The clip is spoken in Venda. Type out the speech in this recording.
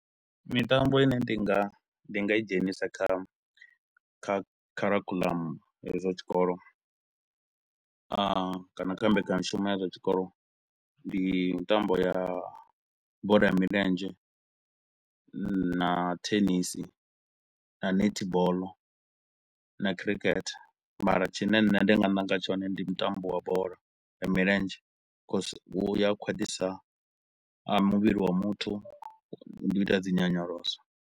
Mitambo i ne ndi nga ndi nga i dzhenisa kha kha kharikhulamu hedzi dza tshikolo, a kana kha mbekanyamushumo ya zwa tshikolo, ndi mitambo ya bola ya milenzhe na thenisi na netball na khirikhethe mara tshine nṋe ndi nga ṋanga tshone ndi mutambo wa bola ya milenzhe cause hu ya khwaṱhisa muvhili wa muthu, ndi u ita dzi nyonyoloso.